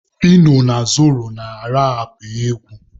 Fino na Zoro na-arapụ egwu.